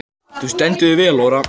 Þú stendur þig vel, Ora!